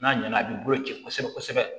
N'a ɲɛna a b'i bolo ci kosɛbɛ kosɛbɛ